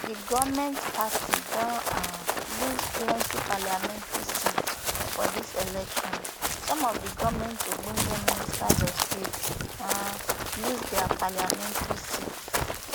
di goment party don um lose plenty parliamentary seats for dis election some of di goment ogbonge ministers of state um lose dia parliamentary seats